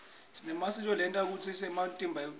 sinematsambo lenta kutsi umtimba ucine